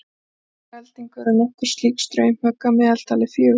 Í hverri eldingu eru nokkur slík straumhögg, að meðaltali fjögur.